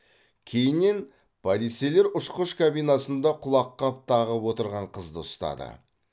кейіннен полицейлер ұшқыш кабинасында құлаққап тағып отырған қызды ұстады